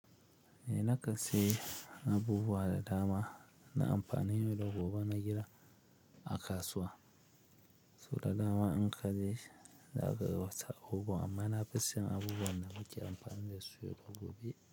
Eh na kan sayi abubuwa da dama na amfanin yau da gobe na gida a kasuwa, so da dama in kaje za ka ga wasu abubuwan amma na fi siyen abubuwan da muke amfani da su yau da gobe.